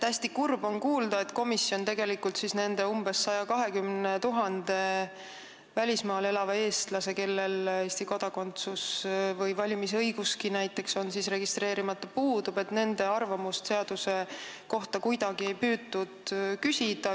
Hästi kurb on kuulda, et komisjon tegelikult ei püüdnudki küsida arvamust seaduse kohta nendelt umbes 120 000-lt välismaal elavalt eestlaselt, kellel Eesti kodakondsus puudub või kelle valimisõigus on registreerimata.